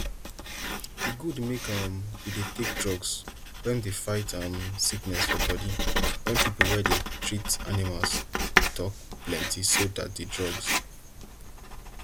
e good make um you dey take drugs wen dey fight um sickness for bodi wen pipo wey dey treat animals tok plenti so dat di drugs